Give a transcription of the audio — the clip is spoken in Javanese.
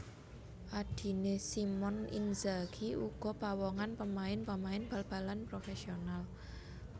Adiné Simone Inzaghi uga pawongan pemain pemain bal balan profesional